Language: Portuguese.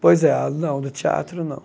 Pois é, não, do teatro, não.